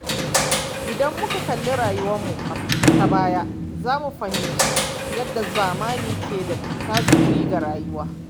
Idan muka kalli rayuwarmu ta baya, za mu fahimci yadda zamani ke da tasiri ga rayuwa.